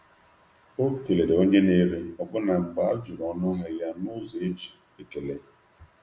um Ọ kelere onye na-ere ahịa n’agbanyeghị na um a jụrụ um ya n’ụzọ dị mma.